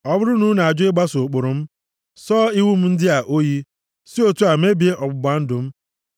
ọ bụrụ na unu ajụ ịgbaso ụkpụrụ m, sọọ iwu m ndị a oyi, si otu a mebie ọgbụgba ndụ m,